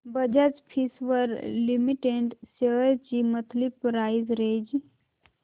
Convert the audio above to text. Bajaj Finserv limited shares ची monthly price range